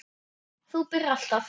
Þú byrjar.